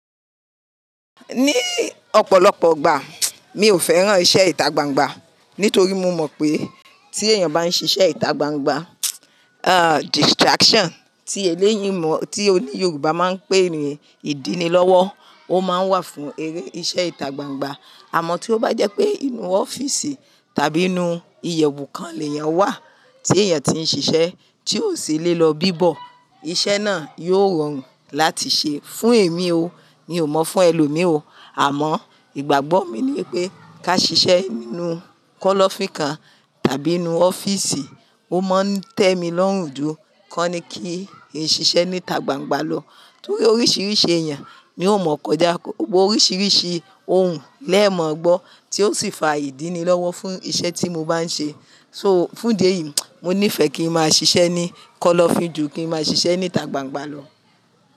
Ní ọ̀pọ̀lọpọ̀ igbà, mi ò fẹ́ràn iṣẹ́ ìta gbangba nítorí mo mọ̀ pé tí èèyàn bá ń ṣiṣẹ́ ìta gbangba, ah distraction tí èlẹ́yìn mọ̀, tí òní Yoruba máa ń pè ní ìdí ni lọ́wọ́, ó máa ń wà fún eré iṣẹ́ ìta gbangba. Àmọ́ tí ó bá jẹ́ pé inú ọ́fíìsì tàbí inú iyẹ̀wù kan ni èèyàn wà tí èèyàn tí ń ṣiṣẹ́ tí ò sì lè lọ bíbọ̀, iṣẹ́ náà yóò rọrùn láti ṣe. Fún èmi o, mi ò mọ̀ fún ẹlòmíì o, àmọ́ ìgbàgbọ́ mi ni pé ká ṣiṣẹ́ nínú kọ́lọ́fín kan tàbí inú ọ́fíìsì, ó máa ń tẹ́ mi lọ́rùn jù kọ́ ni kí n ṣiṣẹ́ níta gbangba lọ. Nítorí oríṣiríṣi èèyàn mi ò mọ̀ kọjá, oríṣiríṣi ohun lẹ́ẹ̀ mọ̀ gbọ́ tí ó sì fa ìdí ni lọ́wọ́ fún iṣẹ́ tí mo bá ń ṣe. So fún idé yìí, mo nífẹ̀ẹ́ kí n máa ṣiṣẹ́ ní kọ́lọ́fín jù kí n máa ṣiṣẹ́ níta gbangba lọ.